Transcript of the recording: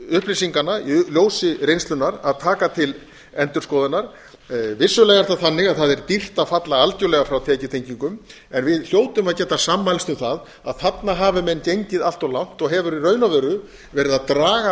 upplýsinganna í ljósi reynslunnar að taka til endurskoðunar vissulega er það þannig að það er dýrt að falla algjörlega frá tekjutengingum en við hljótum að geta sammælst um það að þarna hafi menn gengið allt of langt og hefur í raun og veru verið að draga